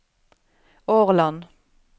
Årland